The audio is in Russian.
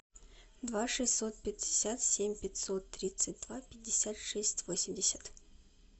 два шестьсот пятьдесят семь пятьсот тридцать два пятьдесят шесть восемьдесят